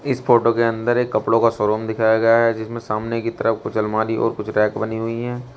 इस फोटो के अंदर एक कपड़ों का शोरूम दिखाया गया है जिसमें सामने की तरफ कुछ अलमारी और कुछ रैक बनी हुई हैं।